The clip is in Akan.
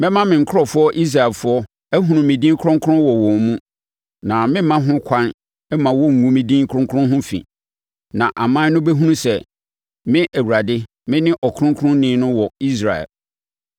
“ ‘Mɛma me nkurɔfoɔ Israelfoɔ ahunu me din kronkron wɔ wɔn mu na meremma ho ɛkwan mma wɔnngu me din kronkron ho fi, na aman no bɛhunu sɛ me Awurade mene Ɔkronkronni no wɔ Israel.